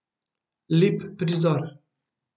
Lep prizor.